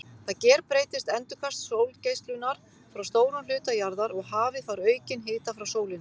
Þá gerbreytist endurkast sólgeislunar frá stórum hluta jarðar og hafið fær aukinn hita frá sólinni.